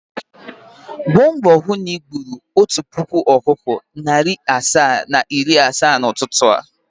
Gba mbo hụ na igburu otu puku ọkụkọ, narị asaa na iri na asaa n’ụtụtụ a!